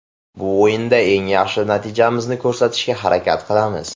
Bu o‘yinda eng yaxshi natijamizni ko‘rsatishga harakat qilamiz.